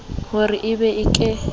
ho re e be ke